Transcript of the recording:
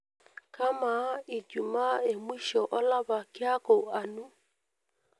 kamaa ijumaa emwisho olapa kiaku anu